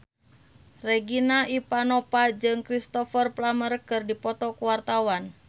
Regina Ivanova jeung Cristhoper Plumer keur dipoto ku wartawan